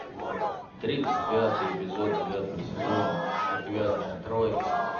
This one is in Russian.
тридцать пятый эпизод девятого сезона отвязная троица